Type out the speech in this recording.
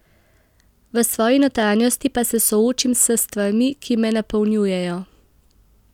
V svoji notranjosti pa se soočim s stvarmi, ki me napolnjujejo.